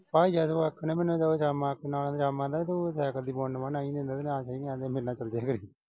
ਭਾਈ ਜਦ ਉਹ ਆਥਣੇ ਮੈਨੂੰ ਕਵੇ ਕੰਮ ਆਪਣੇ ਨਾਲ ਜਾਵਾਂ ਨਾ ਤੂੰ ਸਾਈਕਲ ਦੀ ਮੇਰੇ ਨਾਲ ਚਲਿਆ ਜਿਆ ਕਰੀਂ